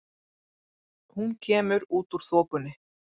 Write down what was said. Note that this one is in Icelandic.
Hún kemur út úr þokunni.